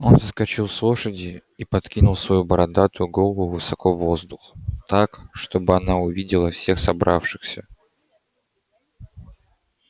он соскочил с лошади и подкинул свою бородатую голову высоко в воздух так чтобы она увидела всех собравшихся